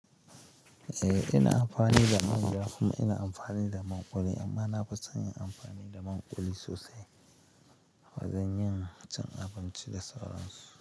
Eh, ina amfani da man ja kuma ina amfani da man ƙuli, amma nafi son yin amfani da man ƙuli sosai. Ba zan iya cin abinci da sauran su.